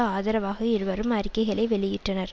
ஆதரவாக இருவரும் அறிக்கைகளை வெளியிட்டனர்